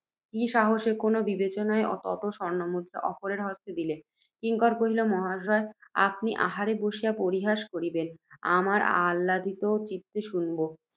কি সাহসে, কোন বিবেচনায়, তত স্বর্ণমুদ্রা অপরের হস্তে দিলে। কিঙ্কর কহিল, মহাশয়। আপনি আহারে বসিয়া পরিহাস করিবেন, আমরা আছাদিত চিত্তে শুনিব।